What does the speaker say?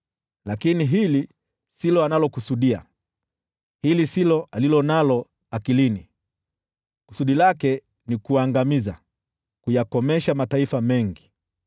Lakini hili silo analokusudia, hili silo alilo nalo akilini; kusudi lake ni kuangamiza, kuyakomesha mataifa mengi.